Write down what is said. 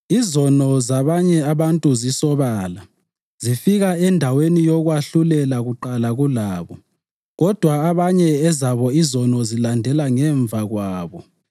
Izono zabanye abantu zisobala, zifika endaweni yokwahlulela kuqala kulabo; kodwa abanye ezabo izono zilandela ngemva kwabo.